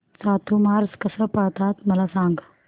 चातुर्मास कसा पाळतात मला सांग